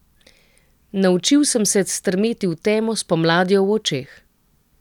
Naučil sem se strmeti v temo s pomladjo v očeh.